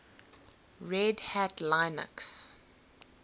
red hat linux